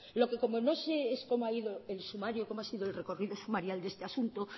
lo que como no sé es cómo ha ido el sumario cómo ha sido el recorrido sumarial de este asunto